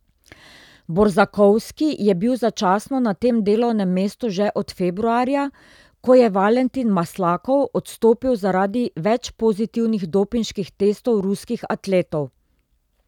Borzakovski je bil začasno na tem delovnem mestu že od februarja, ko je Valentin Maslakov odstopil zaradi več pozitivnih dopinških testov ruskih atletov.